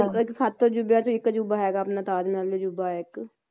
ਸੱਤ ਅਜੂਬਿਆਂ ਚੋ ਇੱਕ ਅਜੂਬਾ ਹੈਗਾ ਆਪਣਾ ਤਾਜ ਮਹਿਲ ਅਜੂਬਾ ਇੱਕ